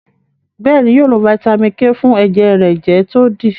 béèni yóò lo Vitamin k fún ẹjẹ rẹ jẹ to di.